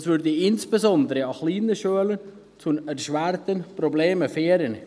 Dies führte insbesondere an kleinen Schulen zu erschwerenden Problemen.